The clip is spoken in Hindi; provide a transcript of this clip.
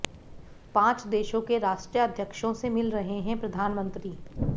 पांच देशों के राष्ट्रध्यक्षों से मिल रहे हैं प्रधानमंत्री